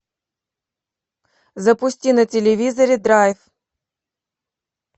запусти на телевизоре драйв